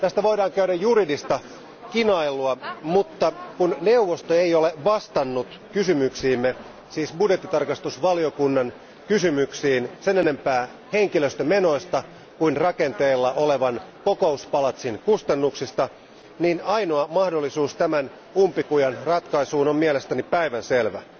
Tästä voidaan käydä juridista kinailua, mutta kun neuvosto ei ole vastannut kysymyksiimme, siis budjettitarkastusvaliokunnnan kysymyksiin sen enempää henkilöstömenoista kuin rakenteilla olevan kokouspalatsin kustannuksista, niin ainoa mahdollisuus tämän umpikujan ratkaisuun on mielestäni päivänselvä.